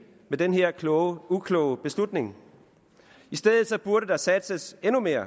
med den her ukloge ukloge beslutning i stedet burde der satses endnu mere